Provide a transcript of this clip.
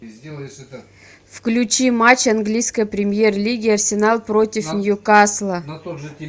включи матч английской премьер лиги арсенал против ньюкасла